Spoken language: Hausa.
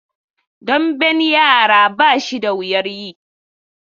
Damben yara ba shi da wuyan yi.